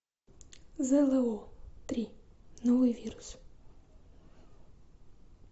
зло три новый вирус